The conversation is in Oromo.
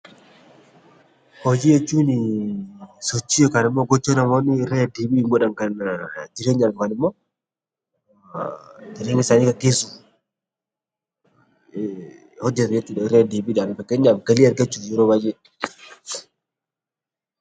Hojii jechuun sochii yookaan gocha namoonni ittiin godhan jireenyaaf yookaan immoo jireenya isaanii gaggeessuuf hojjetan irraa deddeebiidhaan. Fakkeenyaaf galii argachuuf yeroo baayyee